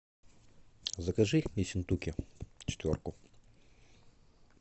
закажи ессентуки четверку